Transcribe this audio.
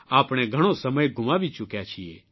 આપણે ઘણો સમય ગુમાવી ચૂક્યા છીએ